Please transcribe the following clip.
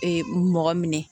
Ee mɔgɔ minɛ